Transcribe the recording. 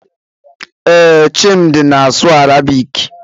Ee, Chimdi na-asụ Arabik.